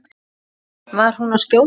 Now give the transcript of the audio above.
En var hún að skjóta?